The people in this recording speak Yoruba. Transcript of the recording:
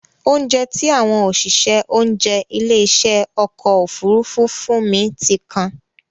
Óunjẹ tí àwọn òṣìṣẹ́ oúnjẹ ilé ìṣe ọkọ̀ Òfurufú fún mi ti kan.